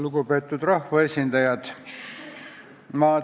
Lugupeetud rahvaesindajad!